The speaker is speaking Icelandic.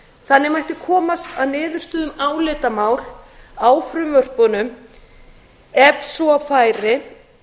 þannig mætti komast að niðurstöðu um álitamál á frumvörpunum ef svo færi